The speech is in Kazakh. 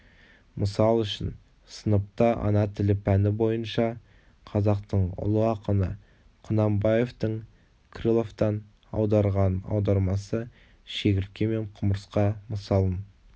мысал үшін сыныпта ана тілі пәні бойынша қазақтың ұлы ақыны құнанбаевтың крыловтан аударған аудармасы шегіртке мен құмырсқа мысалын